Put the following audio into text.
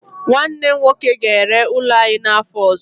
Nwanne m nwoke ga-ere ụlọ anyị n'afọ ọzọ.